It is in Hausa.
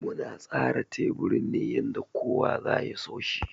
Muna tsara teburin ne yanda kowa za ya so shi.